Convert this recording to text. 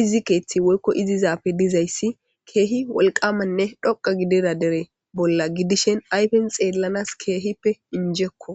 issi keeththti woykko issi zaafe dizayssi keehi wolqamanne dhoqa gidera dere bolla gidishen ayfen xeellanas keehippe injekko